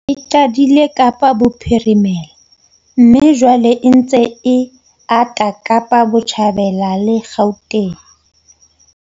E qadile Kapa Bophirimela mme jwale e ntse e ata Kapa Botjhabela le Gauteng.